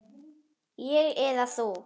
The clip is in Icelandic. Ég eða þú?